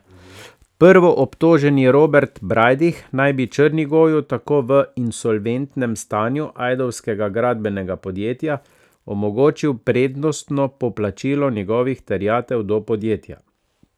Prvoobtoženi Robert Brajdih naj bi Črnigoju tako v insolventnem stanju ajdovskega gradbenega podjetja omogočil prednostno poplačilo njegovih terjatev do podjetja.